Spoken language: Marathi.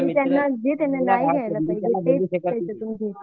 जे त्यांनी नाही घ्याला पाहिजे ते घेतात